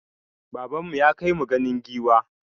Baban mu ya kai mu ganin giwa.